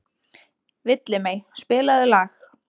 Villimey, spilaðu lag.